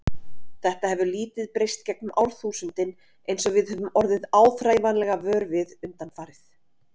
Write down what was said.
Þetta hefur lítið breyst gegnum árþúsundin eins og við höfum orðið áþreifanlega vör við undanfarið.